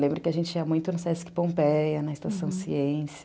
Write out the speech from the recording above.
Lembro que a gente ia muito no Sesc Pompeia, na Estação Ciência.